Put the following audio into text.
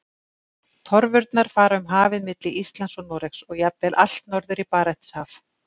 Torfurnar fara um hafið milli Íslands og Noregs og jafnvel allt norður í Barentshaf.